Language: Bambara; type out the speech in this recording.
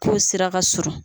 K'o sira ka surun.